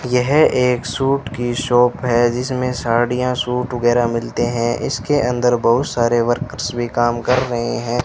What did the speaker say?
यह एक सूट की शॉप है जिसमें साड़ियां सूट वगैरह मिलते हैं इसके अंदर बहुत सारे वर्कर्स भी काम कर रहे हैं।